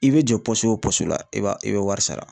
I bɛ jɔ o la i b'a i bɛ wari sara.